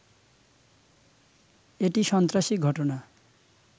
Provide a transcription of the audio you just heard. এটি সন্ত্রাসী ঘটনা